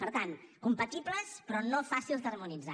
per tant compatibles però no fàcils d’harmonitzar